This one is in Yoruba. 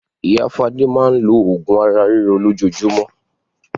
Ìyá Fadé máa ń lo oògùn ara ríro lójoojúmọ́.